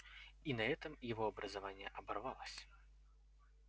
и на этом его образование оборвалось